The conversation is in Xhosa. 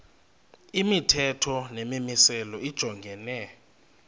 imithetho nemimiselo lijongene